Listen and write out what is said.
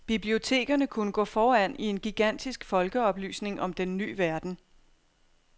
Bibliotekerne kunne gå foran i en gigantisk folkeoplysning om den ny verden.